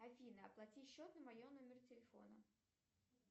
афина оплати счет на моем номере телефона